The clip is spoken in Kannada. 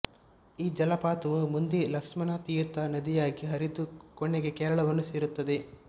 ಈ ಜಲಪಾತವು ಮುಂದೆ ಲಕ್ಷ್ಮಣ ತೀರ್ಥ ನದಿಯಾಗಿ ಹರಿದು ಕೊನೆಗೆ ಕೇರಳವನ್ನು ಸೇರುತ್ತದೆ